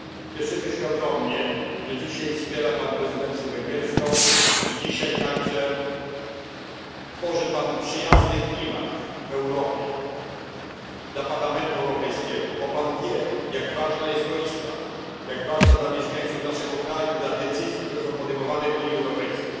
Cieszymy się ogromnie, że dzisiaj wspiera Pan prezydencję węgierską i dzisiaj także tworzy Pan przyjazny dla Parlamentu Europejskiego klimat w Europie, bo Pan wie, jak ważna jest to Izba, jak ważna dla mieszkańców naszego kraju, dla decyzji, które są podejmowane w Unii Europejskiej.